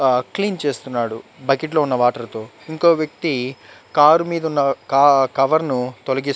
ఆహ్ క్లీన్ చేస్తున్నాడు బకెట్ లో ఉన్న వాటర్ తో ఇంకో వ్యక్తి కార్ మీదున్న క కవర్ ను తొలిగి --